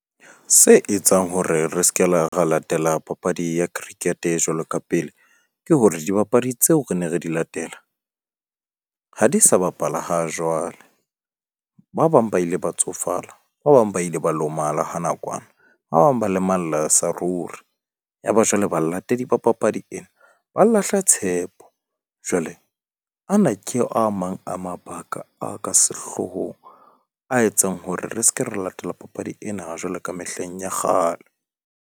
Se etsang hore re ske la ra latela papadi ya cricket jwalo ka pele ke hore dibapadi tseo re ne re di latela ha di sa bapala ha jwale. Ba bang ba ile ba tsofala. Ba bang ba ile ba lomala ha nakwana, ba bang ba lemalla sa ruri. Ya ba jwale balatedi ba papadi ena ba lahla tshepo jwale ana ke a mang a mabaka a ka sehloohong, a etsang hore re ska ra latela papadi ena jwalo ka mehleng ya kgale.